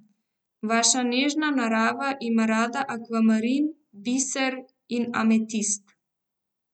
Vaša nežna narava ima rada akvamarin, biser in ametist.